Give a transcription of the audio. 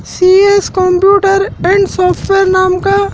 CS computer and software नाम का--